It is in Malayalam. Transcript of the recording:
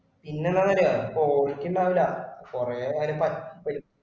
പിന്നെന്താന്നറിയുവോ ഇപ്പൊ ഉണ്ടാവില്ലേ കുറെ